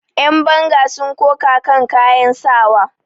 Yanbanga sun koka kan kayan sawa.